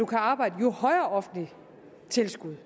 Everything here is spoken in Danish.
kan arbejde jo højere offentligt tilskud